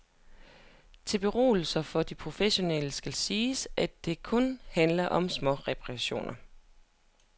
Til beroligelse for de professionelle skal siges, at det kun handler om småreperationer.